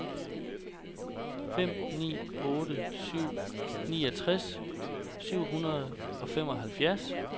fem ni otte syv niogtres syv hundrede og femoghalvfjerds